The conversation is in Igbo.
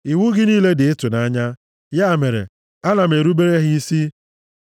Iwu gị niile dị ịtụnanya; ya mere, ana m erubere ha isi.